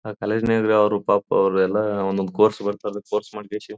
ಆ ಕಾಲೇಜು ನ್ಯಾಗ ಅವರು ಪಾಪ ಅವರೆಲ್ಲ ಒಂದೊದು ಕೋರ್ಸ್ ಬರ್ತದ ಕೋರ್ಸ್ ಮಾಡಕೆ--